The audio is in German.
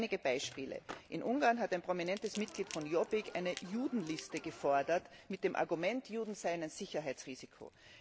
Einige Beispiele In Ungarn hat ein prominentes Mitglied von Jobbik eine Judenliste gefordert, mit dem Argument, Juden seien ein Sicherheitsrisiko.